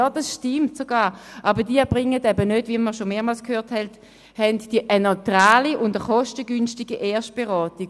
Ja, das stimmt sogar, aber sie leisten eben nicht – wie wir schon mehrmals gehört haben – eine neutrale und kostengünstige Erstberatung.